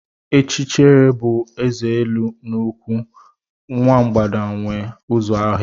Ichekiriche bụ eze élú nkwụ, nwa mgbada nwe ụzọ ọhịa.